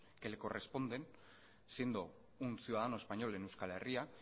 que le corresponden siendo un ciudadano español en euskal herria